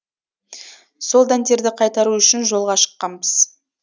сол дәндерді қайтару үшін жолға шыққанбыз